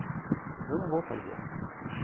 Falei, eu não vou fazer.